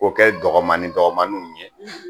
K'o kɛ dɔgɔmaniw dɔgɔmaniw ye